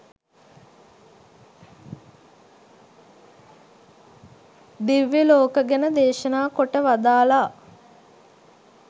දිව්‍ය ලෝක ගැන දේශනා කොට වදාළා.